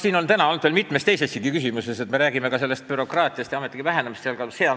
Siin on ju täna olnud veel mitu teistki küsimust, mille puhul me oleme rääkinud bürokraatiast ja ametnike vähenemisest.